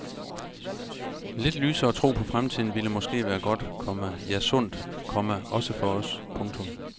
Lidt lysere tro på fremtiden ville måske være godt, komma ja sundt, komma også for os. punktum